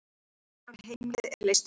Hann drukknar og heimilið er leyst upp.